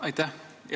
Aitäh!